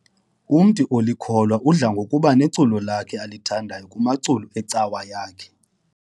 Umntu olikholwa udla ngokuba neculo lakhe alithandayo kumaculo ecawa yakhe.